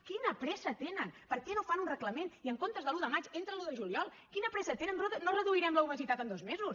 quina pressa tenen per què no fan un reglament i en comptes de l’un de maig entra l’un de juliol quina pressa tenen no reduirem l’obesitat en dos mesos